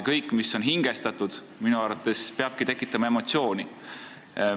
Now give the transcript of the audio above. Kõik, mis on hingestatud, peabki minu arvates tekitama emotsiooni.